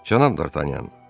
Cənab Dartanyan.